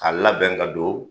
A labɛn ka don